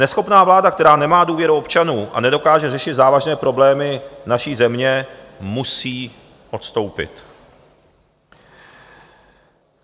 Neschopná vláda, která nemá důvěru občanů a nedokáže řešit závažné problémy naší země, musí odstoupit.